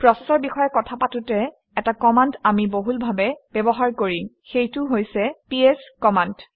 প্ৰচেচৰ বিষয়ে কথা পাতোঁতে এটা কমাণ্ড আমি বহুলভাৱে ব্যৱহাৰ কৰিম সেইটো হৈছে পিএছ কমাণ্ড